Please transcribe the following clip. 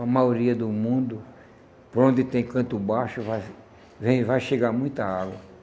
A maioria do mundo, por onde tem canto baixo, vai vem vai chegar muita água.